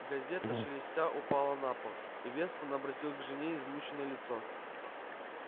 газета шелестя упала на пол и вестон обратил к жене измученное лицо